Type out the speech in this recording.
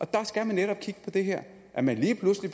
der skal man netop kigge på det her at man lige pludselig